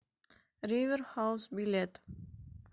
ривер хаус билет